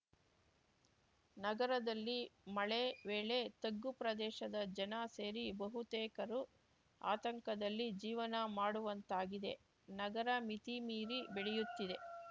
ನಗರದಲ್ಲಿ ಮಳೆ ವೇಳೆ ತಗ್ಗು ಪ್ರದೇಶದ ಜನ ಸೇರಿ ಬಹುತೇಕರು ಆತಂಕದಲ್ಲಿ ಜೀವನ ಮಾಡುವಂತಾಗಿದೆ ನಗರ ಮಿತಿಮೀರಿ ಬೆಳೆಯುತ್ತಿದೆ